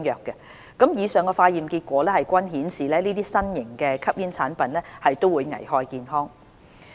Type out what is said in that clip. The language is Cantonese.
以上的化驗結果均顯示，這些新型吸煙產品會危害健康。